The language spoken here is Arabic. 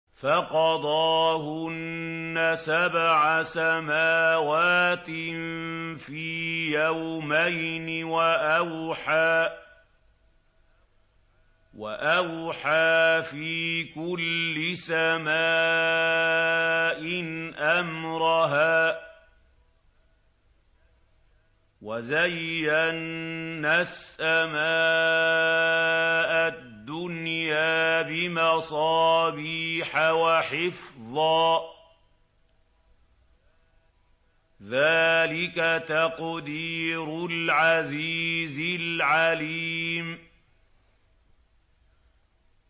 فَقَضَاهُنَّ سَبْعَ سَمَاوَاتٍ فِي يَوْمَيْنِ وَأَوْحَىٰ فِي كُلِّ سَمَاءٍ أَمْرَهَا ۚ وَزَيَّنَّا السَّمَاءَ الدُّنْيَا بِمَصَابِيحَ وَحِفْظًا ۚ ذَٰلِكَ تَقْدِيرُ الْعَزِيزِ الْعَلِيمِ